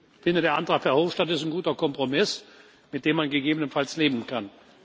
Ich finde, der Antrag von Herrn Verhofstadt ist ein guter Kompromiss, mit dem man gegebenenfalls leben kann.